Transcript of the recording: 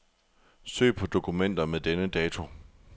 Søg på dokumenter med denne dato.